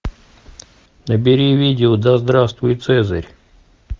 набери видео да здравствует цезарь